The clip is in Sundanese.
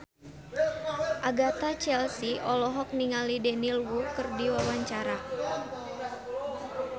Agatha Chelsea olohok ningali Daniel Wu keur diwawancara